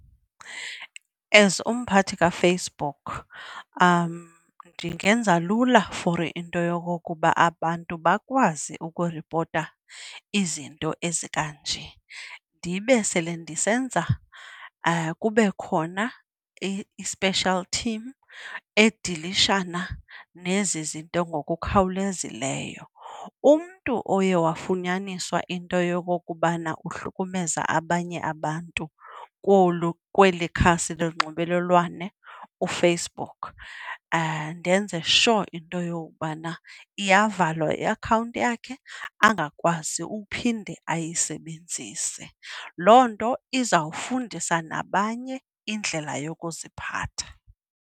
As umphathi kaFacebook ndingenza lula for into yokokuba abantu bakwazi ukuripota izinto ezikanje. Ndibe sele ndisenza kube khona i-special team edilishana nezi zinto ngokukhawulezileyo. Umntu oye wafunyaniswa into yokokubana uhlukumeza abanye abantu kolu, kweli khasi lonxibelelwano uFacebook, ndenze sure into yokubana iyavalwa iakhawunti yakhe angakwazi uphinde ayisebenzise. Loo nto izawufundisa nabanye indlela yokuziphatha.